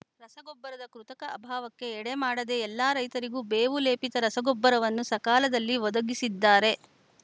ರಸಗೊಬ್ಬರದ ಕೃತಕ ಅಭಾವಕ್ಕೆ ಎಡೆಮಾಡದೇ ಎಲ್ಲ ರೈತರಿಗೂ ಬೇವು ಲೇಪಿತ ರಸಗೊಬ್ಬರವನ್ನು ಸಕಾಲದಲ್ಲಿ ಒದಗಿಸಿದ್ದಾರೆ